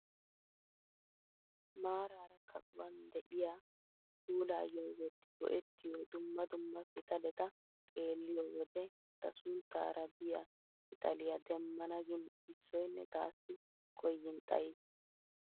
Maarara kaquwaan de'iyaa puulayoo wotti go"ettiyoo dumma dumma pitaleta xeelliyoo wode ta sunttara biyaa pitaliyaa demmana gin issoyinne tassi koyin xayiis!